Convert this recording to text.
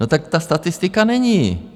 No tak ta statistika není.